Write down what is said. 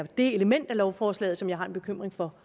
det element i lovforslaget som jeg har en bekymring for